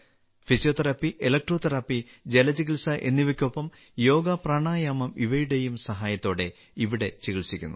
physiotherapy electrotherapy ജലചികിത്സ എന്നിവയ്ക്കൊപ്പം യോഗപ്രാണായാമം ഇവയുടെയും സഹായത്തോടെ ഇവിടെ ചികിത്സിക്കുന്നു